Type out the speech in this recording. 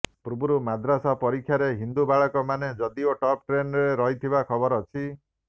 ପୂର୍ବରୁ ମାଦ୍ରାସା ପରୀକ୍ଷାରେ ହିନ୍ଦୁ ବାଳକ ମାନେ ଯଦିଓ ଟପ୍ ଟେନ୍ରେ ରହିଥିବା ଖବର ଅଛି